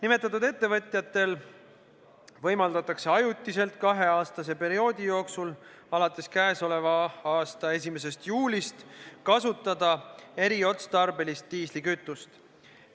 Nimetatud ettevõtjatel võimaldatakse ajutiselt kahe aasta pikkuse perioodi jooksul alates k.a 1. juulist kasutada eriotstarbelist diislikütust.